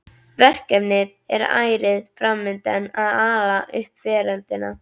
Verkefnið er ærið fram undan að ala upp veröldina.